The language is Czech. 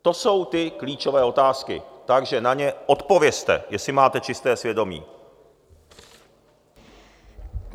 To jsou ty klíčové otázky, takže na ně odpovězte, jestli máte čisté svědomí!